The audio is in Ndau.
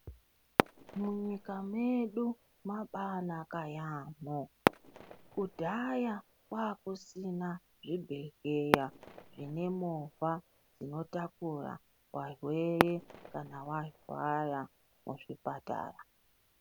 Munyika medu mabanaka yaamho. Kudhaya kwakusina zvibhedhleya zvine movha dzinotakura varwere kana varwara muzvipatara.